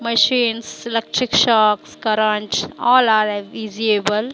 machines electric shops current all are a visible --